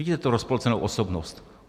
Vidíte tu rozpolcenou osobnost.